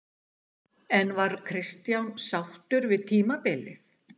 En var Kristján sáttur við tímabilið?